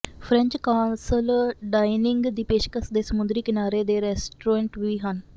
French castle dining ਦੀ ਪੇਸ਼ਕਸ਼ ਦੇ ਸਮੁੰਦਰੀ ਕਿਨਾਰੇ ਦੋ ਰੈਸਟੋਰੈਂਟ ਵੀ ਹਨ